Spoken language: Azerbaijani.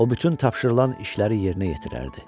O bütün tapşırılan işləri yerinə yetirərdi.